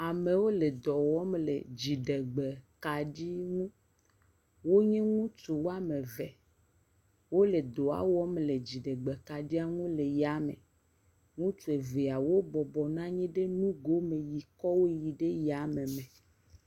Amewo dɔ wɔm le dziɖegbe kaɖi ŋu, wonye ŋutsu woame eve, wole dɔa wɔm le dzigbe kaɖia nu le ya me. Woa me evea wo bɔbɔnɔ anyi ɖe nane nye nugo me sikɔwo yi ayame sĩa.